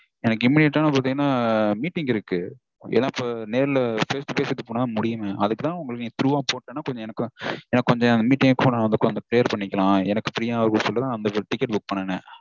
எனக்கு immediate -ஆ வந்து பாத்தீங்கனா meeting இருக்கு. ஏன்னா நேர்ல face to face பேசனாதா முடியுமே. அதுக்குதா உங்களுக்கு through -ஆ போட்டேனா கொஞ்சம் எனக்கு கொஞ்சம் மீட்டிங் அப்போ கொஞ்சம் clear பண்ணிக்கலாம் prayer பண்ணிக்கலாம் எனக்கு free -ஆ இருக்கும்னு சொல்லிட்டுதா நா அந்த ticket book பண்ணினேனே.